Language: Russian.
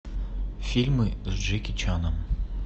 фильмы с джеки чаном